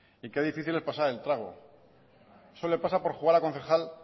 y qué difícil es pasar el trago eso le pasa por jugar a concejal